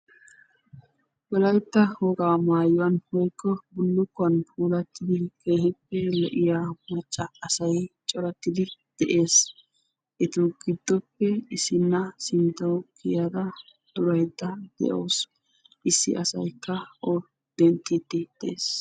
Wolaytta wogaa maayuwan woykko bullukkuwan puulattidi keehippe lo'iya macca asay coratti de'ees. Etu giddoppe issinna sinttawu kiyada duraydda de'awusu. Issi asaykka o denttettiiddi dees.